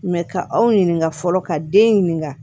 ka aw ɲininka fɔlɔ ka den ɲininka